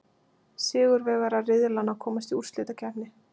Sigurvegarar riðlanna komast í úrslitakeppni.